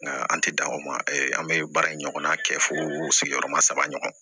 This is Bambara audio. Nka an tɛ dan o ma an bɛ baara in ɲɔgɔnna kɛ fo sigiyɔrɔma saba ɲɔgɔn